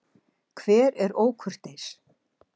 Hver er ókurteis?